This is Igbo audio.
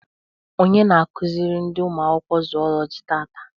Onye na akụziri ndị ụmụ akwụkwọ Zụụlọjị taata?